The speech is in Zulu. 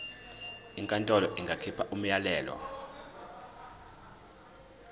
inkantolo ingakhipha umyalelo